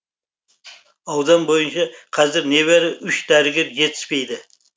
аудан бойынша қазір небәрі үш дәрігер жетіспейді